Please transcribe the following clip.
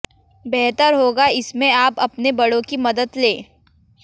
बेहतर होगा इसमें आप अपने बड़ों की मदद लें